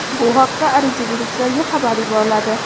Bu haqda ariza beruvchilarga xabar yuboriladi.